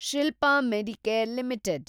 Shilpa medicare limited